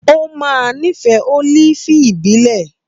Ó máa nífẹ̀ẹ́ olifi ìbílẹ̀